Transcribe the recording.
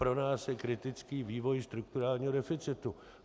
Pro nás je kritický vývoj strukturálního deficitu.